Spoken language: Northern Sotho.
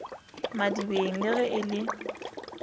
madibeng le ge e le